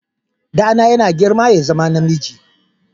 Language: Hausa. Ɗana yana girma ya zama namiji.